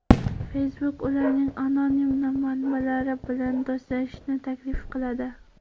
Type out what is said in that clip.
Facebook ularning anonim manbalari bilan do‘stlashishni taklif qiladi.